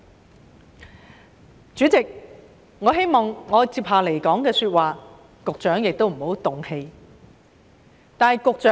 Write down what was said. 代理主席，我希望我接下來的發言，局長也不要動氣。